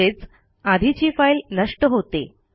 म्हणजेच आधीची फाईल नष्ट होते